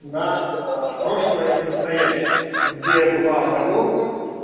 на прошлое и настоящее где была оговорка